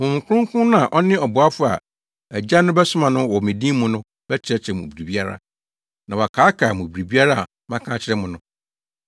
Honhom Kronkron no a ɔne ɔboafo a Agya no bɛsoma no wɔ me din mu no bɛkyerɛkyerɛ mo biribiara, na wakaakae mo biribiara a maka akyerɛ mo no.